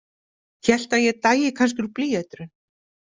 Hélt að ég dæi kannski úr blýeitrun.